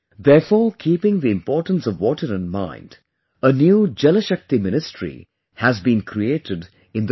Therefore keeping the importance of water in mind, a new Jalashakti ministry has been created in the country